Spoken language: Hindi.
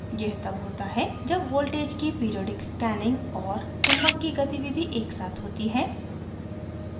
यह तब होता है जब voltage की periodic scanning और चुम्बक की गतिविधि एक साथ होती है